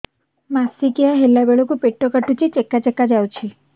ମାସିକିଆ ହେଲା ବେଳକୁ ପେଟ କାଟୁଚି ଚେକା ଚେକା ଯାଉଚି